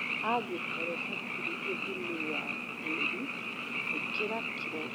Angïkorûo hatirï ûthimi wa tïri ïkira kilo mĩrongo ĩna nginya mĩrongoĩtano cia bataraitha ya DAP haï ïka.